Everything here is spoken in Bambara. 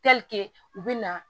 u bɛ na